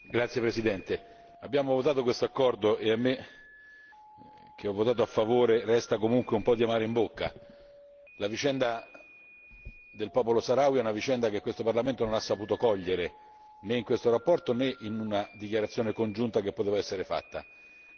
Signor Presidente, onorevoli colleghi, abbiamo votato questo accordo e a me, che ho votato a favore, resta comunque un po' di amaro in bocca. La vicenda del popolo saharawi è una vicenda che questo Parlamento non ha saputo cogliere né in questa relazione né in una dichiarazione congiunta che poteva essere fatta.